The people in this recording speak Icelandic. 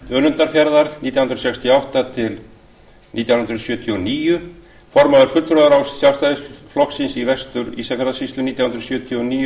önundarfjarðar nítján hundruð sextíu og átta til nítján hundruð sjötíu og níu formaður fulltrúaráðs sjálfstæðisflokksins í vestur ísafjarðarsýslu nítján hundruð sjötíu og níu